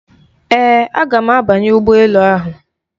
Ee, aga m abanye ụgbọ elu ahụ.